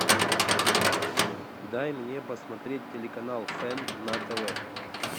дай мне посмотреть телеканал фэн на тв